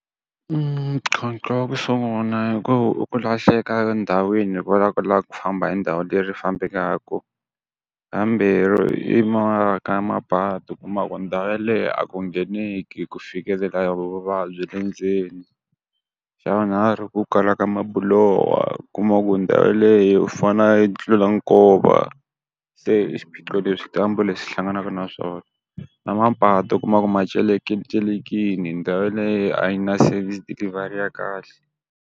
ntlhontlho wa ku sungula hi ku i ku lahleka ndhawini hikwalaho ka ku lava ku famba hi ndhawu leyi fambekaka. Xa vambirhi ka mapatu kuma ku ndhawu yeleyo a ku ngheneki ku fikelela vavabyi endzeni. Xa vunharhu ku kala ka mabuloho, u kuma ku ndhawu yeleyo u fanele a ya tlula nkova. Se swiphiqo leswi leswi hlanganaka na swona. Na mapatu u kuma ku ma celekilecelekile ndhawu yaleyo a yi na service delivery ya kahle.